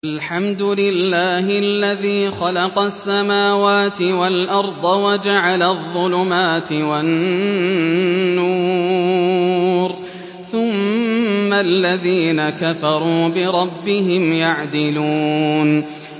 الْحَمْدُ لِلَّهِ الَّذِي خَلَقَ السَّمَاوَاتِ وَالْأَرْضَ وَجَعَلَ الظُّلُمَاتِ وَالنُّورَ ۖ ثُمَّ الَّذِينَ كَفَرُوا بِرَبِّهِمْ يَعْدِلُونَ